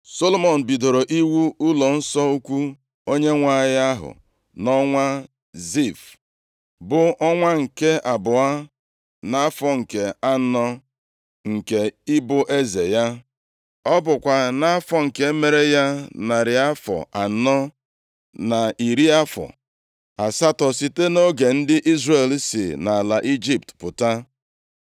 Solomọn bidoro iwu ụlọnsọ ukwu Onyenwe anyị ahụ nʼọnwa Zif, + 6:1 Ọnwa Zif, bụ ọnwa abụọ nʼafọ, nʼọnụọgụgụ afọ ndị Juu ma bụrụ ọnwa ise nʼafọ nʼọnụọgụgụ afọ ugbu. bụ ọnwa nke abụọ nʼafọ nke anọ nke ịbụ eze ya. Ọ bụkwa nʼafọ nke mere ya narị afọ anọ na iri afọ asatọ site nʼoge ndị Izrel si nʼala Ijipt pụta.